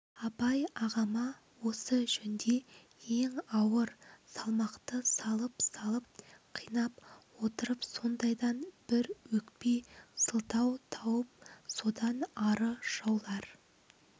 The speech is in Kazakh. абай ағама осы жөнде ең ауыр салмақты салып-салып қинап отырып сондайдан бір өкпе сылтау тауып содан ары жаулар